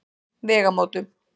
Vegamótum